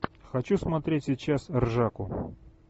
хочу смотреть сейчас ржаку